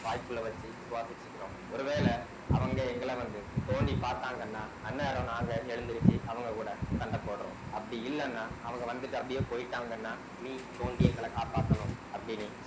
வாய்க்குள்ளே வச்சு சுவாசிச்சுக்கிறோம் ஒருவேளை அவுங்க எங்கள வந்து தோண்டி பாத்தாங்கன்னா அன்னாரம் நாங்க எழுந்திருச்சு அவங்க கூட சண்ட போடுறோம் அப்படி இல்லைன்னா அவங்க வந்துட்டு அப்படியே போயிட்டாங்கன்னா நீ தோண்டி எங்கள காப்பாத்தணும் அப்படின்னி